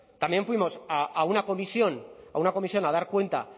también fuimos a una comisión a una comisión a dar cuenta